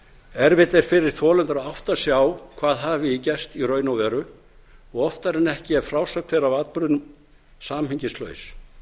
erfitt er fyrir þolendur að átta sig á hvað hafi gerst í raun og veru og oftar en ekki er frásögn þeirra af atburðinum samhengislaus